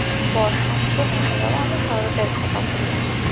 বসন্ত না রে বাবা আমি শরৎয়ের কথা বললাম।